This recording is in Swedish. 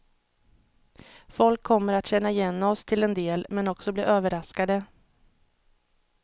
Folk kommer att känna igen oss till en del, men också bli överraskade.